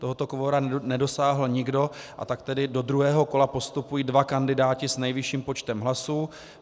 Tohoto kvora nedosáhl nikdo, a tak tedy do druhého kola postupují dva kandidáti s nejvyšším počtem hlasů.